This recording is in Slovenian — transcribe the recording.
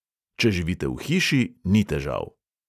Če živite v hiši, ni težav.